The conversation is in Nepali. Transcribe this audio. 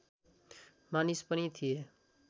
मानिस पनि थिए